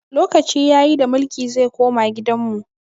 Lokaci ya yi da mulki zai koma gidan mu!